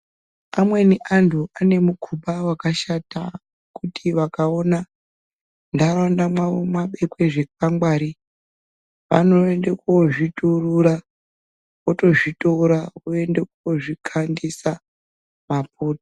Amweni antu ane mukuba wakashata kuti vakaona muntaraunda mwawo mwabekwa zvikwangwari vanoende kozviturura votozvitora voende kokandisa mapoto